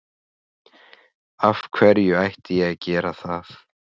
Af hverju ætti ég að gera það?